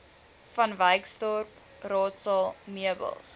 vanwyksdorp raadsaal meubels